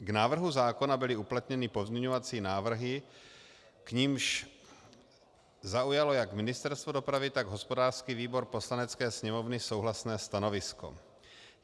K návrhu zákona byly uplatněny pozměňovací návrhy, k nimž zaujalo jak Ministerstvo dopravy, tak hospodářský výbor Poslanecké sněmovny souhlasné stanovisko.